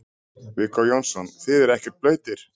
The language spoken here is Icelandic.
Viggó Jónsson: Þið eruð ekkert blautir?